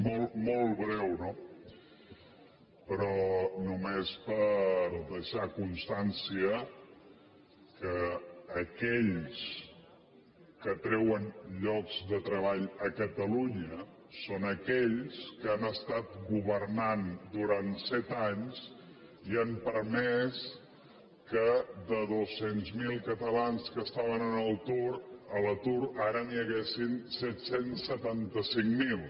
molt breu no però només per deixar constància que aquells que treuen llocs de treball a catalunya són aquells que han estat governant durant set anys i han permès que de dos cents miler catalans que estaven a l’atur ara n’hi hagi set cents i setanta cinc mil